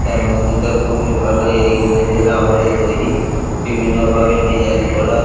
এর মন্দিরটা খুবই ভালো এ ইংরেজের আমলে তৈরি বিভিন্ন ভাবে ডিজাইন করা।